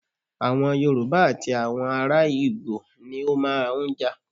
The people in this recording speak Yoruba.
Awọn Yorùbá àti àwọn ará ìgbò ni ó máa ń jà.